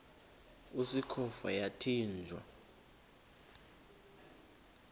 usikhova yathinjw a